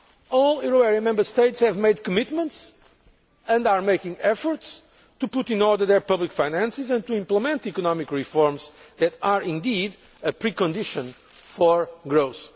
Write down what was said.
All euro area Member States have made commitments and are making efforts to put in order their public finances and to implement economic reforms that are indeed a precondition for growth.